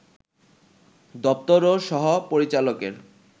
দপ্তর ও সহ-পরিচালকের